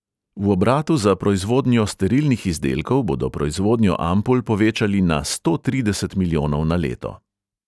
V obratu za proizvodnjo sterilnih izdelkov bodo proizvodnjo ampul povečali na sto trideset milijonov na leto.